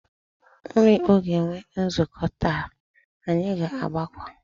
Ụlọ ikpe ga-enwe nzukọ taa, anyị ga-agakwa.